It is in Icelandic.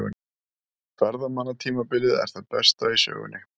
Ferðamannatímabilið er það besta í sögunni